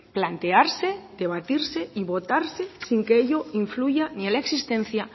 plantearse debatirse y votarse sin que ello influya ni a la existencia